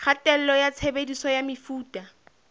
kgatello ya tshebediso ya mefuta